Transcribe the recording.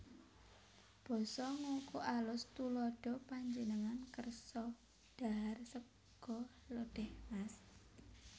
Basa Ngoko AlusTuladha Panjenengan kersa dhahar sega lodèh Mas